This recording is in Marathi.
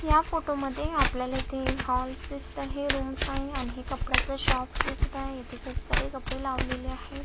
या फोटो मध्ये आपल्याला इथे हाॅलस दिसत आहे रुम आहे आणि हे कपड्याच शॉप्स दिसत आहे येथे खुप सारे कपडे लावलेले आहेत.